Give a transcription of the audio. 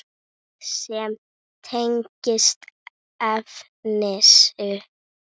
Annað sem tengist efninu